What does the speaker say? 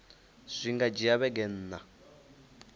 zwi nga dzhia vhege nṋa